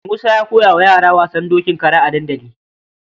Musa ya koya wa yara wasan dokin kara a dandali.